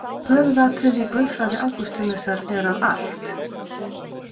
Höfuðatriði í guðfræði Ágústínusar er að allt.